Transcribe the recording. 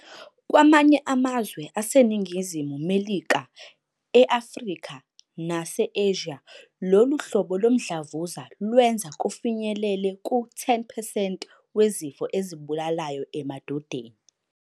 Kwamanye amazwe aseNingizimu Melika, e-Afrika, nase-Asia, lolu hlobo lomdlavuza lwenza kufinyelela ku-10 percent wezifo ezibulalayo emadodeni.